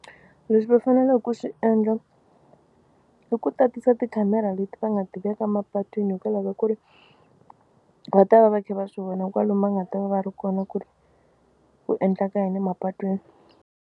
Leswi va faneleke ku swi endla i ku tatisa tikhamera leti va nga ti veka mapatwini hikwalaho ka ku ri va ta va va kha va swi vona kwalomu va nga ta va va ri kona ku ri ku endleka yini emapatwini.